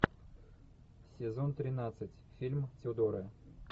сезон тринадцать фильм тюдоры